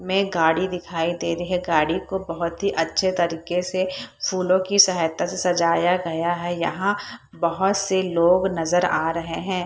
में गाड़ी दिखाई दे रही है। गाड़ी को बहुत ही अच्छे तरीके से फूलों की सहायता से सजाया गया है। यहां बहुत से लोग नजर आ रहे हैं।